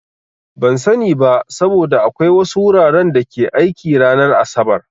Ban sani ba, saboda akwai wasu wuraren da ke aiki ranar asabar.